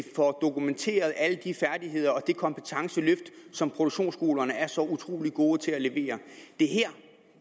får dokumenteret alle de færdigheder og det kompetenceløft som produktionsskolerne er så utrolig gode til at levere